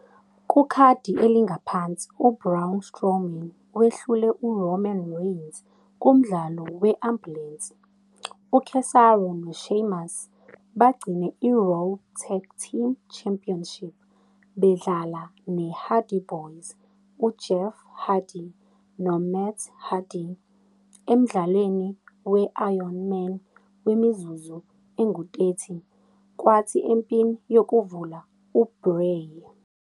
Kukhadi elingaphansi, u- Braun Strowman wehlule u- Roman Reigns kumdlalo we- ambulensi, u- Cesaro no-Sheamus bagcine i - Raw Tag Team Championship bedlala ne -Hardy Boyz, uJeff Hardy no- Matt Hardy, emdlalweni we- Iron Man wemizuzu engu-30, kwathi empini yokuvula, uBray.